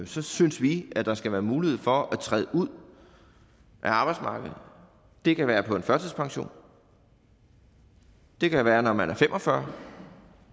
så synes vi at der skal være mulighed for at træde ud af arbejdsmarkedet det kan være på en førtidspension det kan være når man er fem og fyrre